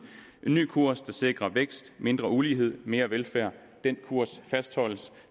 en ny kurs der sikrer vækst mindre ulighed mere velfærd den kurs fastholdes